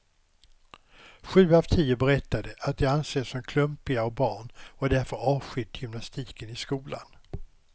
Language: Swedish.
Sju av tio berättade att de ansetts som klumpiga barn och därför avskytt gymnastiken i skolan.